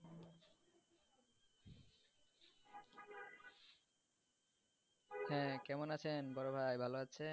হ্যাঁ কেমন আছে বড় ভাই ভালো আছেন?